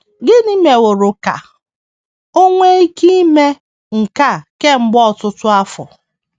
Gịnị meworo ka o nwee ike ime nke a kemgbe ọtụtụ afọ?